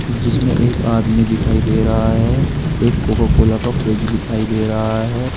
जिसमें एक आदमी दिखाई दे रहा है एक कोका कोला का फ्रिज दिखाई दे रहा है।